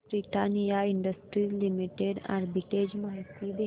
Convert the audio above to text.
Britannia industries limited arbitrage माहिती दे